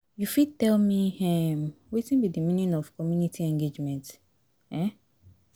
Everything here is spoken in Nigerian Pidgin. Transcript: you fit tell me um wetin be di meaning of community engagement? um